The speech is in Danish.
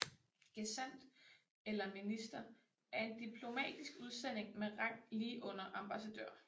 Gesandt eller minister er en diplomatisk udsending med rang lige under ambassadør